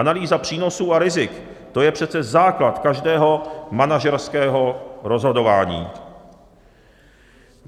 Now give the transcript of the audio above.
Analýza přínosů a rizik, to je přece základ každého manažerského rozhodování.